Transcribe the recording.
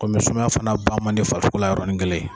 Kɔmi sumaya fana ban man di farikolola la yɔrɔ nin kelen